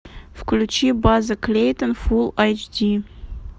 включи база клейтон фулл эйч ди